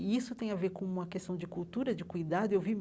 E isso tem a ver com uma questão de cultura, de cuidado eu vi.